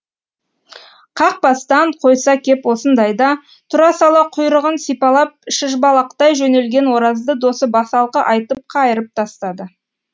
қақ бастан қойса кеп осындайда тұра сала құйрығын сипалап шыжбалақтай жөнелген оразды досы басалқы айтып қайырып тастады